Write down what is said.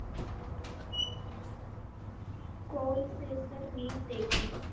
கோல் சேசர் நீர் தேக்கம்.